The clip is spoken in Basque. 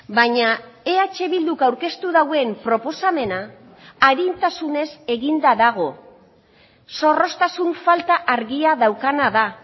baina eh bilduk aurkeztu duen proposamena arintasunez eginda dago zorroztasun falta argia daukana da